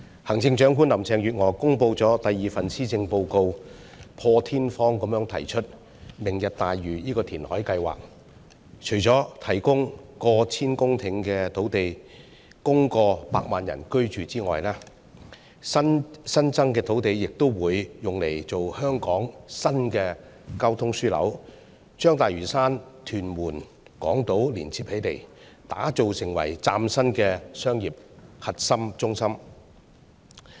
行政長官林鄭月娥公布了第二份施政報告，破天荒地提出"明日大嶼"這項填海計劃。除了提供逾千公頃土地供超過百萬人居住外，新增的土地也會用作香港新的交通樞紐，把大嶼山、屯門、港島連接起來，打造成為嶄新的商業核心中心。